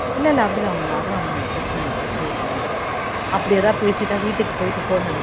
இல்ல இல்ல அப்படிலாம் ஒன்னும் இல்ல அதெல்லாம் ஒன்னு இல்ல பிரச்சனை இல்லை விட்று விட்றுன்னும் அப்ப்டி ஏதாவது பேசிட்டா வீட்டுக்கு போயிட்டு phone அடிக்கும்